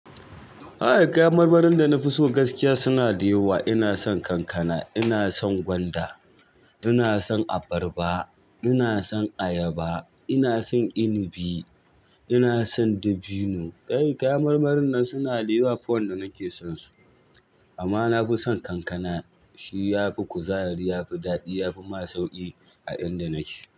Kai kayan marmarin da na fi so gaskiya suna da yawa. Ina son kankana, ina son gwanda, ina son abarba, ina son ayaba, ina son inibi, ina son dabino. Kai kayan marmarin nan suna da yawa fa wanda nake son su amma na fi son kankana. Shi ya fi kuzari, ya fi daɗi, ya fi ma sauƙi a inda nake.